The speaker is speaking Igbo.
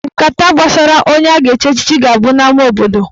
Nkata gbasara onye a ga-echi echichi ga-abụ n'ama obodo.